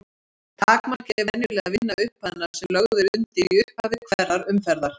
Takmarkið er venjulega að vinna upphæðina sem lögð er undir í upphafi hverrar umferðar.